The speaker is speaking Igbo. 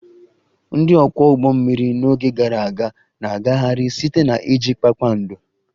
Ndị ọkwọ ụgbọ mmiri n'oge gara aga na-agagharị site na iji kpakpando